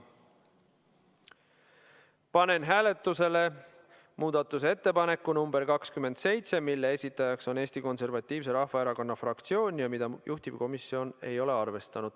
Panen hääletusele muudatusettepaneku nr 27, mille on esitanud Eesti Konservatiivse Rahvaerakonna fraktsioon ja mida juhtivkomisjon ei ole arvestanud.